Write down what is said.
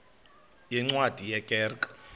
yeencwadi ye kerk